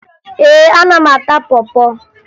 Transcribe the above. Ee, ana m ata pọ pọ